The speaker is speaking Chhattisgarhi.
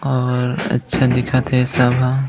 अऊ अच्छा दिखत हे सब झन--